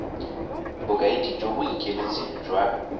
bokaedi jo bo ikemetseng jwa